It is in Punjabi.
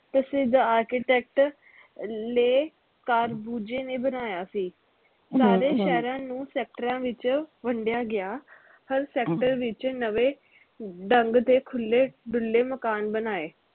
ਪ੍ਰਸਿੱਧ architecture ਲੇਹ ਕਾਰਬੂਜੇ ਨੇ ਬਣਾਇਆ ਸੀ ਸਾਰੇ ਸ਼ਹਿਰਾਂ ਨੂੰ ਸੈਕਟਰਾਂ ਵਿਚ ਵੰਡੀਆਂ ਗਿਆ ਹਰ sector ਵਿਚ ਨਵੇਂ ਢੰਗ ਦੇ ਖੁੱਲੇ ਡੁੱਲੇ ਮਕਾਨ ਬਣਾਏ